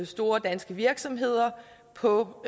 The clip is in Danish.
store danske virksomheder og på